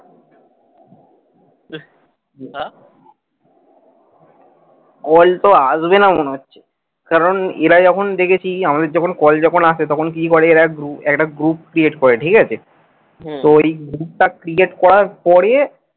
না। call তো আসবেনা মনে হচ্ছে কারণ এরা যখন দেখেছি আমাদের যখন call যখন আসে তখন কি করে এরা দু একটা group create করে ঠিকাছে। তো এই group টা create করার পরে